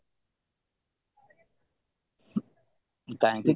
କାହିଁକି